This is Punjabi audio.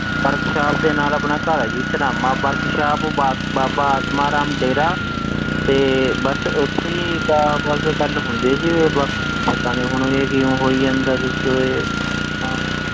Workshop ਦੇ ਨਾਲ ਆਪਣਾ ਘਰ ਆ ਜੀ ਸਨਾਮਾ workshop ਬਾ~ ਬਾਬਾ ਆਤਮਾ ਰਾਮ ਡੇਰਾ ਤੇ ਬਸ ਉਥੇ ਹੀ ਗੱਲ ਆਹ ਬਸ ਗੱਲ ਹੁੰਦੀ ਆ ਜੀ ਬਾਕੀ ਪਤਾ ਨੀ ਹੁਣ ਵੀ ਇਹ ਕਿ ਹੋਈ ਜਾਂਦਾ ਕੁਛ ਤਾਂ ਇਹ ਹਾਂ,